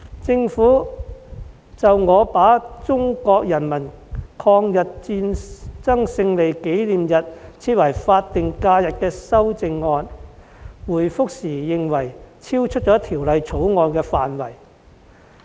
就我提出把中國人民抗日戰爭勝利紀念日訂為法定假日的擬議修正案，政府回覆時認為超出了《條例草案》的範圍。